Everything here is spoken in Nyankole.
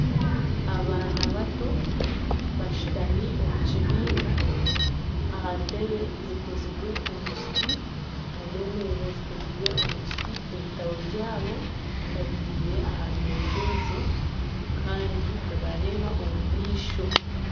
Abaana bato bashutami omu kibiina, aha ntebe zikozirwe omu kiti nana emeeza zikozirwe omu kiti ebitabo byabo babitaire aha meeza ezo kandi nibareeba omu maisho